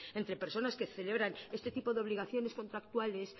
entre personas que celebran este tipo de obligaciones contractuales